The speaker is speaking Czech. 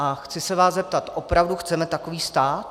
A chci se vás zeptat - opravdu chceme takový stát?